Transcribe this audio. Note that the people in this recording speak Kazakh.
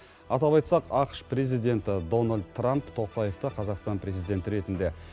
атап айтсақ ақш президенті дональд трамп тоқаевты қазақстан президенті ретінде